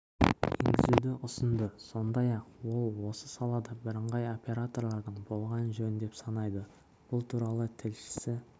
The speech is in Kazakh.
енгізуді ұсынды сондай-ақ ол осы салада бірыңғай оператордың болғаны жөн деп санайды бұл туралы тілшісі